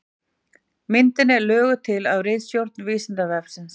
Myndin er löguð til af ritstjórn Vísindavefsins.